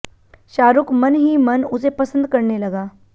शाहरुख मन ही मन उसे पसंद करने लगा